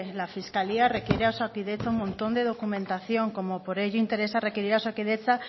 la fiscalía requiere a osakidetza un montón de documentación como por ello interesa requerir a osakidetza